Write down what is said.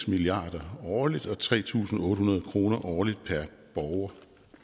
milliard kroner årligt og tre tusind otte hundrede kroner årligt per borger